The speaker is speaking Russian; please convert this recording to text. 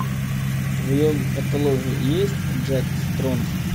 в твоем каталоге есть джек стронг